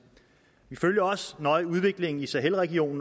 vi følger også nøje udviklingen i sahelregionen